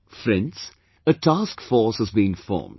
Friends, a task force have been formed